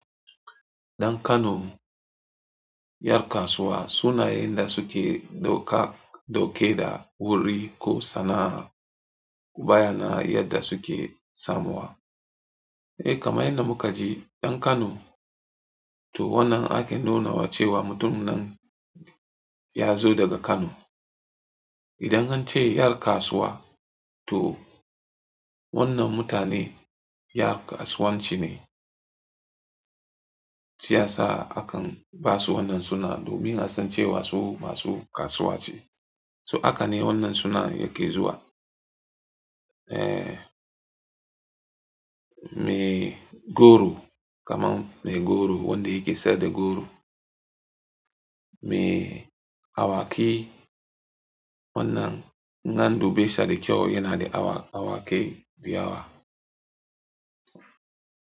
Dan Kano, yar kasuwa, suna yanda suke dauka, dauke da wuri ko sana'a, baya na yadda suke samuwa. Eh kama inda muka ji, ɗan Kano, to wannan ake nunawa cewa mutumin nan ya zo daga Kano. Idan an ce yar kasuwa, to wannan mutane yar kasuwanci ne. Shi yasa akan ba su wannan suna domin a san cewa su masu kasuwa ce. So haka ne wannan suna yake zuwa. Eh, mai goro, kamar mai goro, wanda yake sayar da goro. Me awaki, wannan nan dube sa da kyau yana da awa, awaki diyawa.